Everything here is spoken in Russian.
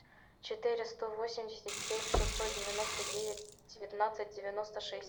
четыреста восемьдесят семь шестьсот девяносто девять девятнадцать девяносто шесть